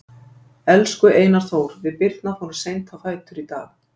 Elsku Einar Þór, við Birna fórum seint á fætur í dag.